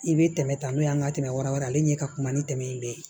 I bɛ tɛmɛ ta n'o y'an ka tɛmɛrawɛrɛ ye ale ɲɛ ka kuma ni dɛmɛ in bɛɛ ye